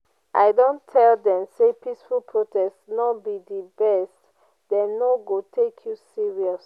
i don tell dem sey peaceful protest no be di best dem no go take you serious.